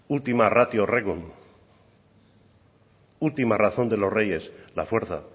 ultima ratio regum última razón de los reyes la fuerza